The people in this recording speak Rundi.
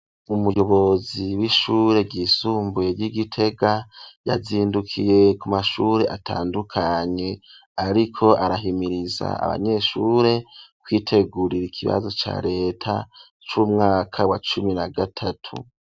Umuyobozi w'ishure ryisumbuye ry'igitega yazindukiye ku mashure atandukanye ariko arahimiriza abanyeshure kwitegurira ikibazo ca reta c'umwaka wa cumi na gatatu.